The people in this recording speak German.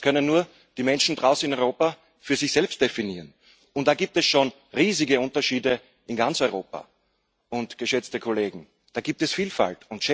Das können nur die Menschen draußen in Europa für sich selbst definieren, und da gibt es schon riesige Unterschiede in ganz Europa. Und, geschätzte Kollegen, da gibt es Vielfalt.